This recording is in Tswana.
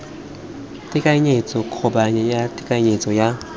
tekanyetso kgobokanyo ya tekanyetso ya